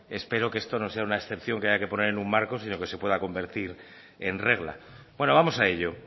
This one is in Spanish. espero que esto no sea una excepción que haya que poner en un marco sino que se pueda convertir en regla bueno vamos a ello